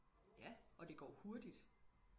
ja og det går hurtigt